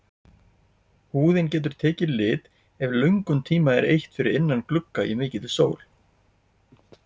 Húðin getur tekið lit ef löngum tíma er eytt fyrir innan glugga í mikilli sól.